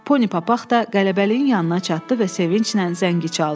Poni Papaq da qələbəliyin yanına çatdı və sevinclə zəngi çaldı.